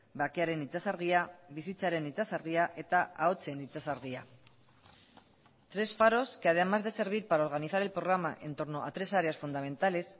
bakearen itsasargia bizitzaren itsasargia eta ahotsen itsasargia tres faros que además de servir para organizar el programa en torno a tres áreas fundamentales